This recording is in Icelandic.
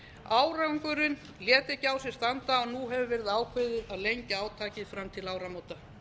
árangurinn lét ekki á sér standa og nú hefur verið ákveðið að lengja átakið fram til áramóta